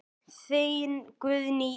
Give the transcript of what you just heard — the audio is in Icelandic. Þín Guðný Ýr.